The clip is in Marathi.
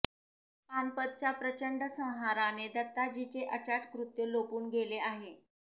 पानपतच्या प्रचंड संहाराने दत्ताजीचे अचाट कृत्य लोपून गेले आहे